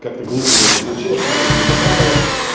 как-то глупо у нее это получилось она её не поправила